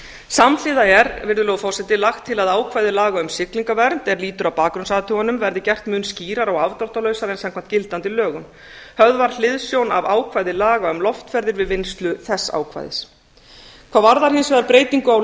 samhliða er virðulegur forseti lagt til að ákvæði laga um siglingavernd er lýtur að bakgrunnsathugunum verði gert mun skýrara og afdráttarlausara samkvæmt gildandi lögum höfð var hliðsjón af ákvæði laga um loftferðir við vinnslu þess ákvæðis hvað varðar hins vegar breytingu á